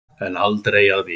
En aldrei að vita.